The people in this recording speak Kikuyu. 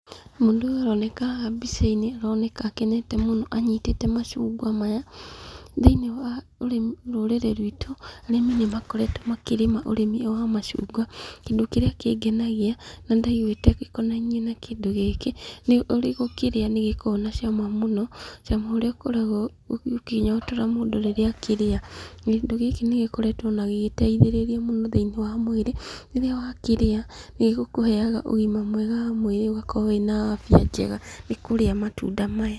Mũndũ ũyũ ũroneka haha mbica-inĩ aroneka akenete mũno anyitĩte macungwa maya, thĩinĩ wa rũrĩrĩ rwitũ, arĩmi nĩ makoretwo makĩrĩma ũrĩmi ũyũ wa macungwa, kĩndũ kĩrĩa kĩngenagia na ndaiguĩte gĩkonainie na kĩndũ gĩkĩ, nĩ ũrĩgũkĩrĩa nĩ gĩkoragwo na cama mũno, cama ũrĩa ũkoragwo ũkĩnyotora mũndũ rĩrĩa akĩrĩa, kĩndũ gĩkĩ nĩ gĩkoretwo gĩgĩteithĩrĩria mũno thĩinĩ wa mwĩrĩ, rĩrĩa wakĩrĩa nĩ gĩkũheaga ũgima mwega wa mwĩrĩ ũgakorwo wĩ na afya njega nĩ kũrĩa matunda maya.